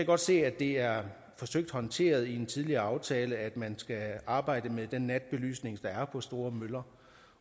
godt se at det er forsøgt håndteret i en tidligere aftale at man skal arbejde med den natbelysning der er på store møller